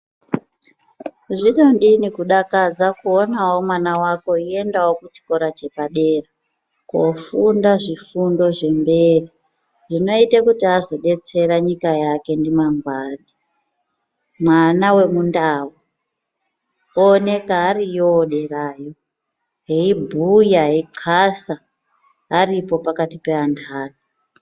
Zvinodini kudakadza kuonawo mwana wako eindawo kuchikora chepadera kofunda zvifundo zvemberi zvinoite kuti azodetsera nyika yake mangwani. Mwana wemuNdau ooneka ariyoo derayo eibhuya eixasa aripoo pakati peantani.